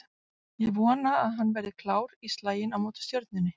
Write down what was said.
Ég vona að hann verði klár í slaginn á móti Stjörnunni